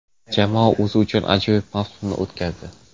Jamoa o‘zi uchun ajoyib mavsumni o‘tkazdi.